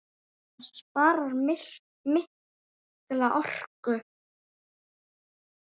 Það sparar mikla orku.